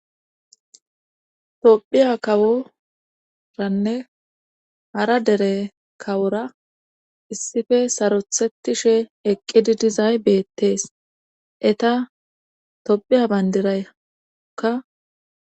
tophiya kaworanne hara dere kawora issife sarothettishe eqqidi dizay beettees eta tophiya bayndiraykka